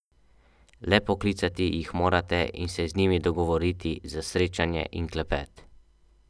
Le poklicati jih morate in se z njimi dogovoriti za srečanje in klepet.